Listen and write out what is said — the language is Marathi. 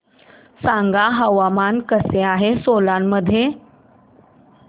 सांगा हवामान कसे आहे सोलान मध्ये